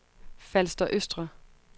Falster Østre